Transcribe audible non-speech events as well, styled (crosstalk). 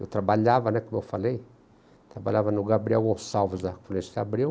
Eu trabalhava, né, como eu falei, trabalhava no Gabriel Gonçalves (unintelligible) Abreu.